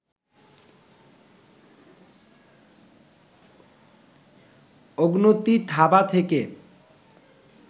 অগুনতি থাবা থেকে